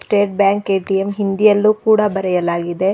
State bank ATM ಹಿಂದಿಯಲ್ಲೂ ಕೂಡ ಬರೆಯಲಾಗಿದೆ.